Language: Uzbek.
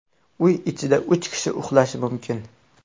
Uy ichida uch kishi uxlashi mumkin.